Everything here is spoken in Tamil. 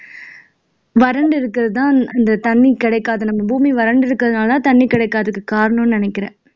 வறண்டு இருக்கிறது தான் இந்த தண்ணி கிடைக்காத நம்ம பூமி வறண்டு இருக்கிறதுனால தான் தண்ணி கிடைக்காததுக்கு காரணம்னு நினைக்கிறேன்